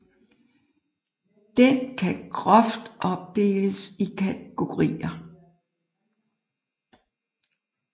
Den kan groft opdeles i kategorier